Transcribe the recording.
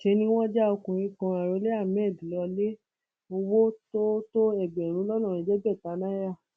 ṣe ni wọn já ọkùnrin kan arọlé hammed lọlẹ owó tó tó ẹgbẹrún lọnà ẹẹdẹgbẹta náírà